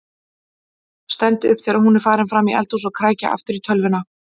Stend upp þegar hún er farin fram í eldhús og kræki aftur í tölvuna.